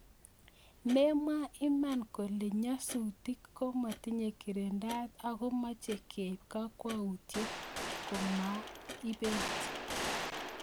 Memwa iman kole nyasutik komotinye girindaet ako mochei keib kakwautiet komabit